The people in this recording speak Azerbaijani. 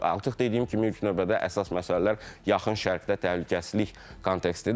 Artıq dediyim kimi, ilk növbədə əsas məsələlər yaxın şərqdə təhlükəsizlik kontekstidir.